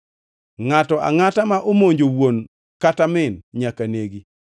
“Ngʼato angʼata ma omonjo wuon kata min nyaka negi.